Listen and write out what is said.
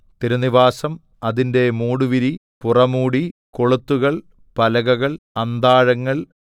തിരുനിവാസം അതിന്റെ മൂടുവിരി പുറമൂടി കൊളുത്തുകൾ പലകകൾ അന്താഴങ്ങൾ